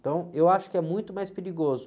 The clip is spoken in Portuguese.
Então, eu acho que é muito mais perigoso.